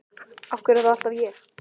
Af hverju er það alltaf ég?